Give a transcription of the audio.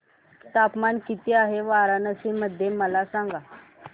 तापमान किती आहे वाराणसी मध्ये मला सांगा